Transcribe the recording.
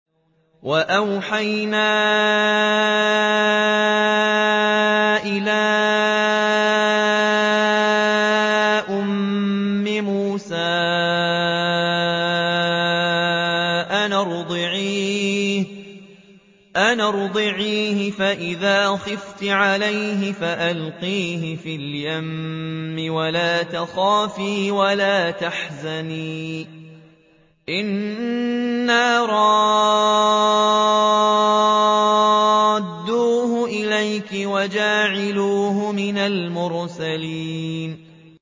وَأَوْحَيْنَا إِلَىٰ أُمِّ مُوسَىٰ أَنْ أَرْضِعِيهِ ۖ فَإِذَا خِفْتِ عَلَيْهِ فَأَلْقِيهِ فِي الْيَمِّ وَلَا تَخَافِي وَلَا تَحْزَنِي ۖ إِنَّا رَادُّوهُ إِلَيْكِ وَجَاعِلُوهُ مِنَ الْمُرْسَلِينَ